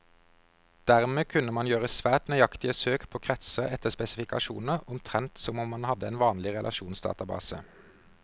Dermed kunne man gjøre svært nøyaktige søk på kretser etter spesifikasjoner, omtrent som om man hadde en vanlig relasjonsdatabase.